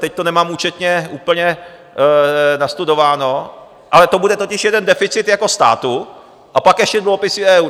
teď to nemám účetně úplně nastudováno - ale to bude totiž jeden deficit jako státu a pak ještě dluhopisy EU.